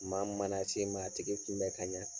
Maa min mana se i ma a tigi kunbɛ ka ɲɛ.